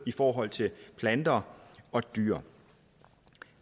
i forhold til planter og dyr